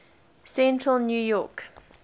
central new york